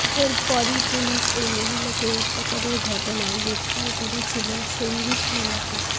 এর পরই পুলিশ ওই মহিলাকে অত্যাচারের ঘটনায় গ্রেফতার করেছিল সঞ্জিত কুইলাকে